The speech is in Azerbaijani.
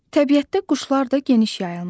Təbiətdə quşlar da geniş yayılmışdı.